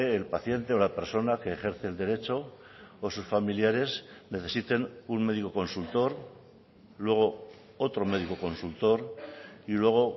el paciente o la persona que ejerce el derecho o sus familiares necesiten un médico consultor luego otro médico consultor y luego